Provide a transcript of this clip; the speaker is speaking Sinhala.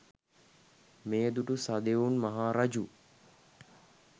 මෙය දුටු සුදොවුන් මහා රජු